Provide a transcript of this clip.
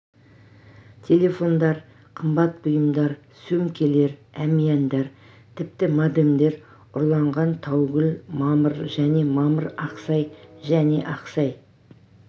телефондар қымбат бұйымдар сөмкелер әмияндар тіпті модемдер ұрланған таугүл мамыр және мамыр ақсай және ақсай